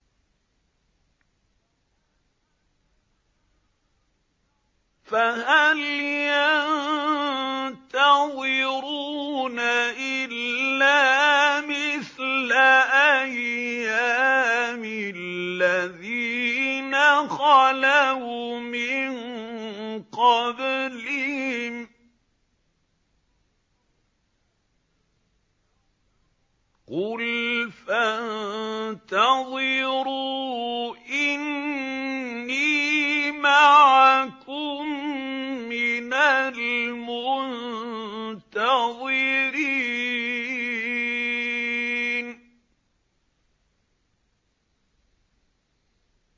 فَهَلْ يَنتَظِرُونَ إِلَّا مِثْلَ أَيَّامِ الَّذِينَ خَلَوْا مِن قَبْلِهِمْ ۚ قُلْ فَانتَظِرُوا إِنِّي مَعَكُم مِّنَ الْمُنتَظِرِينَ